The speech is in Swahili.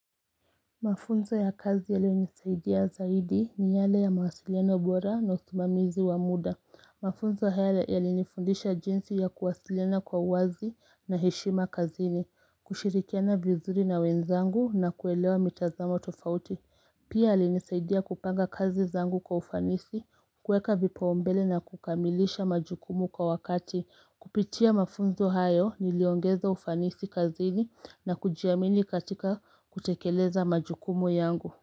Mafunzo ya kazi yale unisaidia zaidi ni yale ya mawasiliana ubora na usumamizi wa muda Mafunzo haya yale nifundisha jinsi ya kuwasiliana kwa wazi na heshima kazini kushirikiana bizuri na wenzangu na kuelewa mitazamo tofauti Pia alinisaidia kupanga kazi zangu kwa ufanisi Kweka vipoombele na kukamilisha majukumu kwa wakati Kupitia mafunzo hayo niliongeza ufanisi kazini na kujiamini katika kutekeleza majukumu yangu.